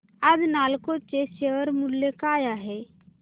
आज नालको चे शेअर मूल्य काय आहे